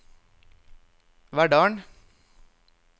Verdal